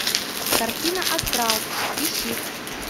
картина астрал ищи